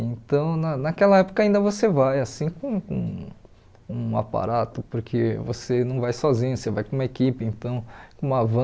Então na naquela época ainda você vai assim com com um aparato, porque você não vai sozinho, você vai com uma equipe então, com uma van.